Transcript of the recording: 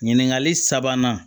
Ɲininkali sabanan